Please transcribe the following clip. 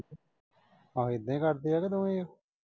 ਆਹੋ ਏਦਾਂ ਈ ਕਰਦੇ ਆ ਇਹ ਤੇ ਦੋਵੇਂ।